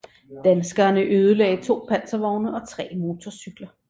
Danskerne ødelagde to panservogne og tre motorcykler